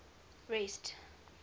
rest